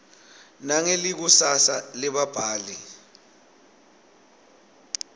nangelikusasa lebabhali